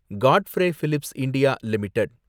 Godfrey Phillips India limited